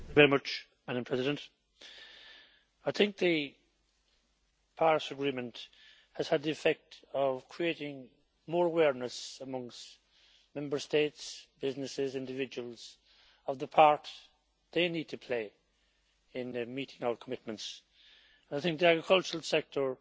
Madam President, I think the Paris Agreement has had the effect of creating more awareness amongst Member States, businesses, individuals, of the part they need to play in meeting our commitments. I think the agricultural sector